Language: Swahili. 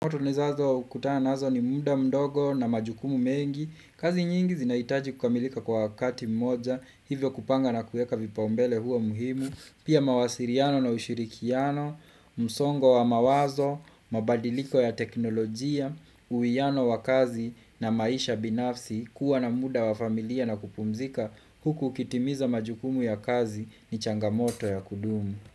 Oto nizazo kutana nazo ni muda mdogo na majukumu mengi, kazi nyingi zinahitaji kukamilika kwa wakati mmoja, hivyo kupanga na kuweka vipaumbele huwa muhimu, pia mawasiliano na ushilikiano, msongo wa mawazo, mabadiliko ya teknolojia, uwiano wa kazi na maisha binafsi, kuwa na muda wa familia na kupumzika, huku hukitimiza majukumu ya kazi ni changamoto ya kudumu.